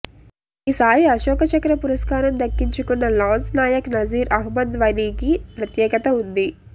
ఈసారి అశోక్ చక్ర పురస్కారం దక్కించుకున్న లాన్స్ నాయక్ నజీర్ అహ్మద్ వనీకి ప్రత్యేకత ఉంది